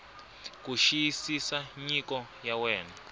ku xiyisisa nyiko ya wena